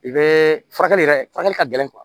I bɛ furakɛli yɛrɛ furakɛli ka gɛlɛn